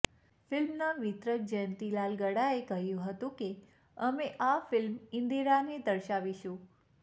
ફિલ્મના વિતરક જયંતીલાલ ગડાએ કહ્યું હતું કે અમે આ ફિલ્મ ઈંદિરાને દર્શાવીશું